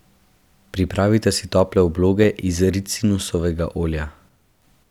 Pripravite si tople obloge iz ricinusovega olja.